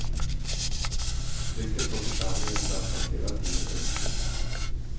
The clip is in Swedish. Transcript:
Trycket på församlingen trappas hela tiden upp.